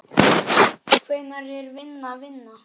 Hvenær er vinna vinna?